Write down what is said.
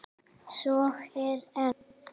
Svo er enn.